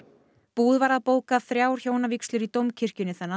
búið var að bóka þrjár hjónavígslur í Dómkirkjunni